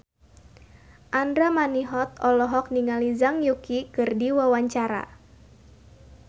Andra Manihot olohok ningali Zhang Yuqi keur diwawancara